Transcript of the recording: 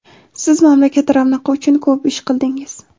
Siz mamlakat ravnaqi uchun ko‘p ish qildingiz.